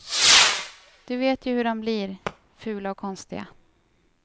Du vet ju hur dom blir, fula och konstiga.